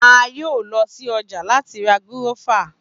A yoo lọ si ọja lati ra gúrọ́fà.